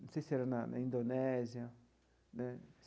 Não sei se era na na Indonésia né.